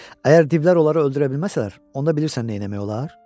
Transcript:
Əgər divlər onları öldürə bilməsələr, onda bilirsən nə etmək olar?